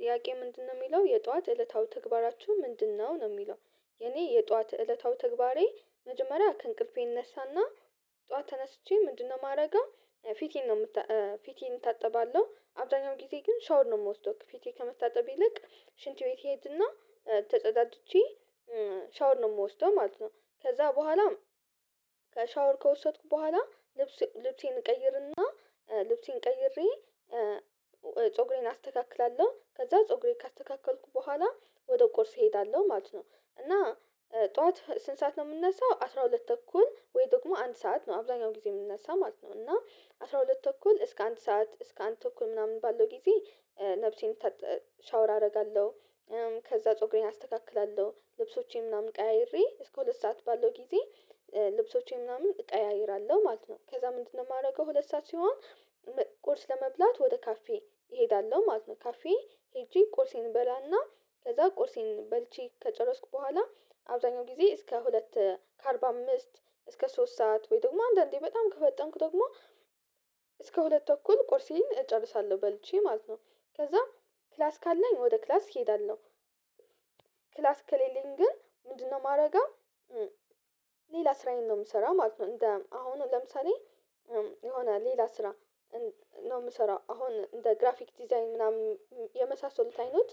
ጥያቄ ምንድነው የሚለው "የጧት እለታዊ ተግባራችሁ ምንድነው ነው?" የሚለው። የኔ የጧት እለታዊ ተግባሬ መጀመሪያ ከእንቅልፌ እነሳና ጠዋት ተነስቼ ምንድነው ማረገው ፊቴን ነው እታጠባለሁ አብዛኛው ጊዜ ግን 'ሻውር' ነው የምወስደው። ፊቴን ከመታጠቤ ይልቅ ሽንት ቤት እሄድ እና ተጸዳጅቼ 'ሻወር' ነው የምወስደው ማለት ነው። ከዛ በኋላም ከ'ሻወር' ከወሰድኩ በኋላ ልብሴን እቀይርና ልብሴን ቀይሬ ፀጉሬን አስተካክላለሁ ከዛ ፀጉሬን ካስተካከልኩ በኋላ ወደ ቁርሴ እሄዳለሁ ማለት ነው። እና ጠዋት ስንት ሰዓት ነው የምንነሳው አስራ ሁለት ተኩል ወይ ደግሞ አንድ ሰዓት ነው አብዛኛው ጊዜ የምነሳው ማለት ነው። እና አስራ ሁለት ተኩል እስከ አንድ ሰዓት እስከ አንድ ተኩል ምናምን ባለው ጊዜ ነፍሴን 'ሻወር' አደርጋለሁ። ከዛ ፀጉሬን አስተካክላለሁ ልብሶቼን ምናምን ቀያይሬ እስከ ሁለት ሰዓት ባለው ጊዜ ልብሶቼን ምናምን እቀያይራለሁ ማለት ነው። ከዛ ምንድነው የማደርገው ሁለት ሰዓት ሲሆን ቁርስ ለመብላት ወደ ካፌ እሄዳለሁ ማለት ነው። ካፌ ሄጄ ቁርሴን እበላና ከዛ ቁርሴን በልቼ ከጨረስኩ በኋላ አብዛኛውን ጊዜ እስከ ሁለት ከአርባ አምስት እስከ ሶስት ሰዓት ወይ ደግሞ አንዳንዴ በጣም ከፈጠንኩ ደግሞ እስከ ሁለት ተኩል ቁርሴን እጨርሳለሁ በልቼ ማለት ነው። ከዛም ክላስ ካለኝ ወደ ክላስ እሄዳለሁ። ክላስ ከሌለኝ ግን ምንድነው ማረገው ሌላ ስራዬን ነው የምሰራው ማለት ነው። እንደ አሁን ለምሳሌ የሆነ ሌላ ስራ ነው የምሰራው አሁን እንደ "ግራፊክ ዲዛይን" ምናምን የመሳሰሉት አይነት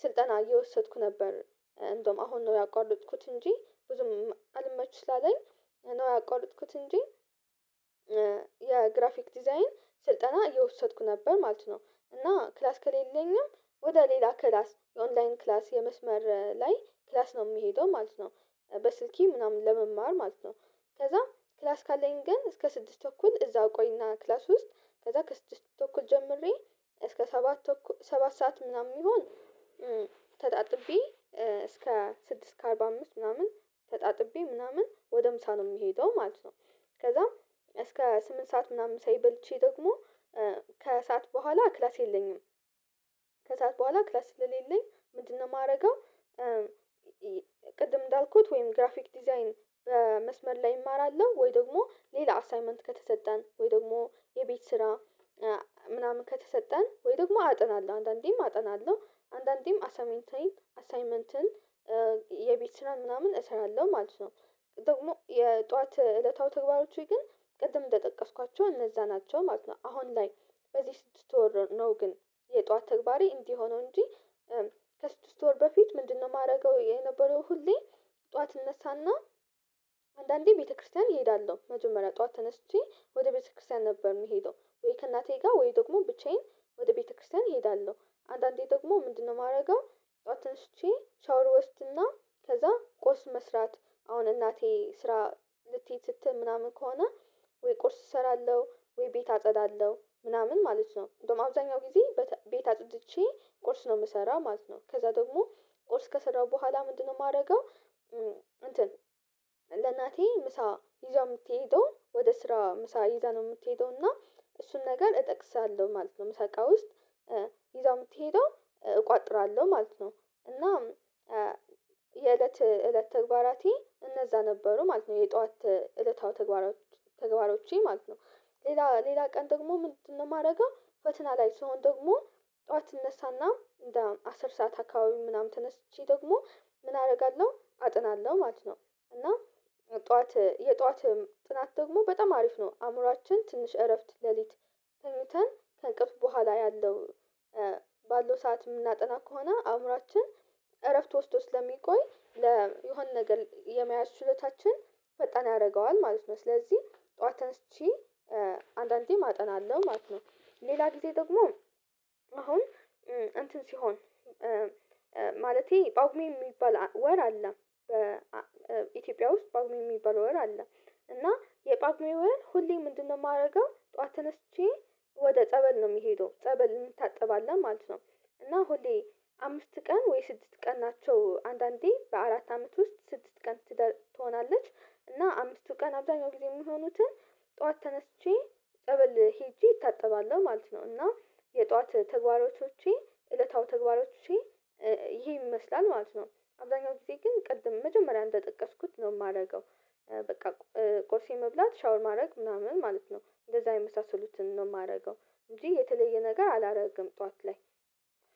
ስልጠና እየወሰድኩ ነበር። እንደውም አሁን ነው ያቋረጥኩት እንጂ ብዙም አልመችም ስላለኝ ነው ያቋረጥኩት እንጂ የ"ግራፊክ ዲዛይን" ስልጠና እየወሰድኩ ነበር ማለት ነው። እና ክላስ ከሌለኝም ወደ ሌላ ክላስ የ"ኦንላይን" ክላስ የመስመር ላይ ክላስ ነው የምሄደው ማለት ነው። በስልኬ ምናምን ለመማር ማለት ነው። ከዛ ክላስ ካለኝ ግን እስከ ስድስት ተኩል እዛ ቆይና ክላስ ውስጥ ከዛ ከስድስት ተኩል ጀምሬ እስከ ሰባት ተኩል ሰባት ሰዓት ምናምን ቢሆን ተጣጥቤ እስከ ስድስት ከአርባ አምስት ምናምን ተጣጥቤ ምናምን ወደ ምሳ ነው የምሄደው ማለት ነው። ከዛም እስከ ስምንት ሰዓት ምናምን ምሳዬን በልቼ ደግሞ ከሰአት በኋላ ክላስ የለኝም ከሰአት በኋላ ክላስ ስለሌለኝ ምንድነው የማደርገው ቅድም እንዳልኩት ወይም "ግራፊክ ዲዛይን" በመስመር ላይ እማራለሁ ወይ ደግሞ ሌላ አሳይመንት ከተሰጠን ወይ ደግሞ የቤት ስራ ምናምን ከተሰጠን ወይ ደግሞ አጠናለሁ። አንድአንዴም አጠናለሁ። አንድንዴም አሳይመንትን የቤት ስራ ምናምን እሰራለሁ ማለት ነው። ደግሞ የጧት እለታዊ ተግባሮቼ ግን ቅድም እንደጠቀስኳቸው እነዛ ናቸው ማለት ነው። አሁን ላይ በዚህ ስድስት ወር ነው ግን የጧት ተግባሬ እንዲህ የሆነው እንጂ ከስድስት ወር በፊት ምንድነው የማደርገው የነበረው ሁሌ ጠዋት እነሳና አንድአንዴ ቤተክርስቲያን እሄዳለሁ። መጀመሪያ ጠዋት ተነስቼ ወደ ቤተክርስቲያን ነበር የምሄደው። ወይ ከእናቴ ጋር ወይ ደግሞ ብቻዬን ወደ ቤተክርስቲያን እሄዳለሁ። አንድአንዴ ደግሞ ምንድነው የማደርገው ጠዋት ተነስቼ 'ሻወር' እወስድና ከዛ ቁርስ መስራት አሁን እናቴ ስራ ልትሄድ ስትል ምናምን ከሆነ ወይ ቁርስ እሰራለሁ ወይ ቤት አጸዳለሁ። ምናምን ማለት ነው። እንደውም አብዛኛውን ጊዜ ቤት አጽድቼ ቁርስ ነው የምሰራው ማለት ነው። ከዛ ደግሞ ቁርስ ከሰራው በኋላ ምንድነው የማደርገው እንትን ለእናቴ ምሳ ይዛ የምትሄደውን ወደ ስራ ምሳ ይዛ ነው የምትሄደው እና እሱን ነገር እጠቅሳለሁ ማለት ነው ምሳ እቃ ውስጥ። ይዛ የምትሄደው እቋጥራለሁ ማለት ነው። እና የእለት እለት ተግባራቴ እነዛ ነበሩ ማለት ነው። የጧት እለታዊ ተግባሮቼ ማለት ነው። ሌላ ሌላ ቀን ደግሞ ምንድነው የማደርገው ፈተና ላይ ሲሆን ደግሞ ጠዋት እነሳና እንደ አስር ሰዓት አካባቢ ምናምን ተነስቼ ደግሞ ምን አደርጋለሁ አጠናለሁ ማለት ነው። እና ጠዋት የጠዋት ጥናት ደግሞ በጣም አሪፍ ነው። አእምሮአችን ትንሽ እረፍት ሌሊት ተኝተን ከእንቅልፍ በኋላ ያለው ባለው ሰዓት የምናጠና ከሆነ አእምሮአችን እረፍት ወስዶ ስለሚቆይ የሆነ ነገር የመያዝ ችሎታች ፈጣን ያደርገዋል ማለት ነው። ስለዚህ ጠዋት ተነስቼ አንድአንዴም አጠናለሁ ማለት ነው። ሌላ ጊዜ ደግሞ አሁን እንትን ሲሆን ማለቴ ጳጉሜ የሚባል ወር አለ በኢትዮጵያ ውስጥ ጳጉሜ የሚባል ወር አለ። እና የጳጉሜ ወር ሁሌ ምንድነው የማደርገው ጠዋት ተነስቼ ወደ ጸበል ነው የምሄደው። ጸበል እንታጠባለን ማለት ነው። እና ሁሌ አምስት ቀን ወይ ስድስት ቀን ናቸው። አንድአንዴ በአራት አመት ውስጥ ስድስት ቀን ትሆናለች። እና አምስቱ ቀን አብዛኛው ጊዜ የሚሆኑትን ጠዋት ተነስቼ ጸበል ሄጄ እታጠባለሁ ማለት ነው። እና የጠዋት ተግባራቶቼ እለታዊ ተግባራቶቼ ይሄን ይመስላል ማለት ነው። አብዛኛው ጊዜ ግን ቅድም መጀመሪያ እንደጠቀስኩት ነው የማደርገው። በቃ ቁርሴን መብላት 'ሻወር' ማድረግ ምናምን ማለት ነው እንደዛ የመሳሰሉትን ነው የማደርገው እንጂ የተለየ ነገር አላደረግም ጠዋት ላይ።